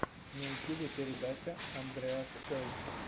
на ютюбе передача андреас чойс